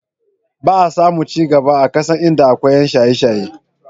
Ba a samun ci gaba a ƙasa idan akwai ƴan shaye-shaye.